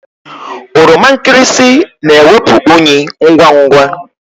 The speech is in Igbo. Oroma nkịrịsị na-ewepụ unyị ngwa ngwa.